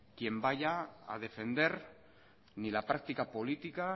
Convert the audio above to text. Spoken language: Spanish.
quien vaya a defender ni la práctica política